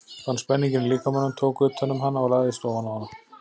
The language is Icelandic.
Fann spenninginn í líkamanum, tók utan um hana og lagðist ofan á hana.